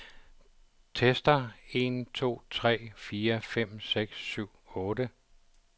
Tester en to tre fire fem seks syv otte.